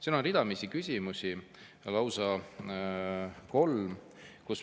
Siin on ridamisi küsimusi, lausa kolm.